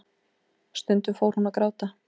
Stundum fór hún að gráta.